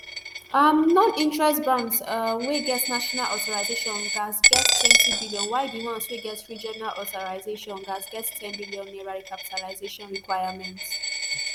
um noninterest banks um wey get national authorisation gatz get ntwenty billion while di ones wey get regional authorisation gatz get n ten billion naira recapitalisation requirement